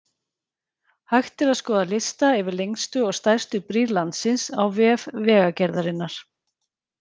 Hægt er að skoða lista yfir lengstu og stærstu brýr landsins á vef Vegagerðarinnar.